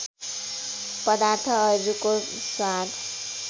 पदार्थहरूको स्वाद